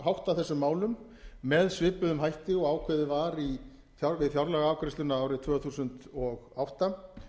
hátta þessum málum með svipuðum hætti og ákveðið var við fjárlagaafgreiðsluna árið tvö þúsund og átta